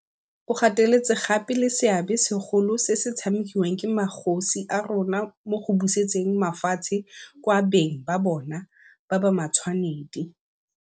O gateletse gape le seabe segolo se se tshamekiwang ke magosi a rona mo go busetseng mafatshe kwa beng ba bona ba ba matshwanedi.